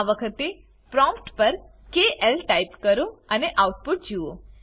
આ વખતે પ્રોમ્ટ પર કેએલ ટાઈપ કરો અને આઉટપુટ જુઓ